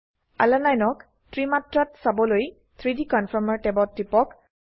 আলানিনে ক ত্ৰি মাত্ৰাত চাবলৈ 3ডি কনফৰ্মাৰ ট্যাবত টিপক